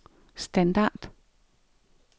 standard